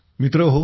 मित्रहो